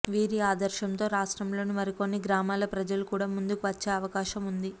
వీరి ఆదర్శంతో రాష్ట్రంలోని మరి కొన్ని గ్రామాల ప్రజలు కూడా ముందుకు వచ్చే అవకాశముంది